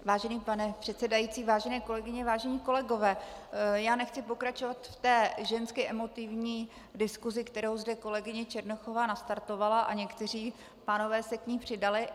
Vážený pane předsedající, vážené kolegyně, vážení kolegové, já nechci pokračovat v té žensky emotivní diskusi, kterou zde kolegyně Černochová nastartovala, a někteří pánové se k ní přidali.